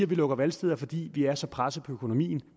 vi lukker valgsteder fordi vi er så presset på økonomien